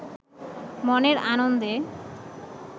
মনের আনন্দে